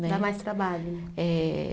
Né. Dá mais trabalho. Eh